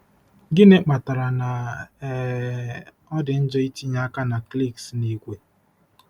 Gịnị kpatara na um ọ dị njọ itinye aka na cliques n'ìgwè?